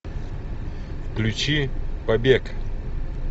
включи побег